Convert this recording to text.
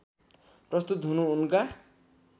प्रस्तुत हुनु उनका